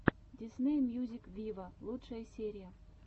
дисней мьюзик виво лучшая серия